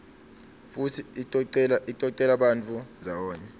futsi icocela bantfu ndzawonye